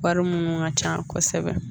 Wari minnu ka ca kosɛbɛ